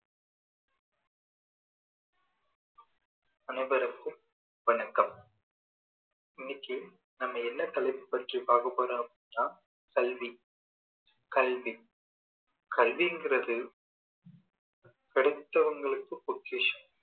அனைவருக்கும் வணக்கம் இன்னைக்கு நம்ம என்ன தலைப்பை பற்றி பார்க்க போறோம் அப்படின்னா கல்வி கல்வி கல்விங்குறது கிடைச்சவங்களுக்கு பெக்கிஷம்